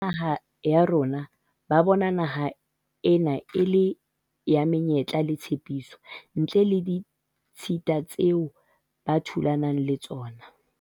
Batjha ba naha ya rona ba bona naha ena e le ya menyetla le tshepiso, ntle le ditshita tseo ba thulanang le tsona.